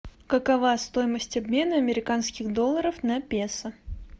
какова стоимость обмена американских долларов на песо